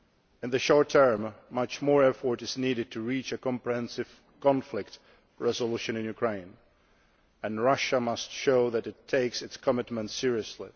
In the short term, much more effort is needed to reach a comprehensive conflict resolution in Ukraine, and Russia must show that it takes its commitments seriously.